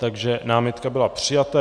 Takže námitka byla přijata.